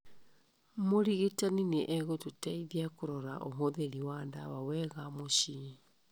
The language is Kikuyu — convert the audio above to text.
Mũrigitani nĩ egũgũteithia kũrora ũhũthĩri wa ndawa wega mũciĩ.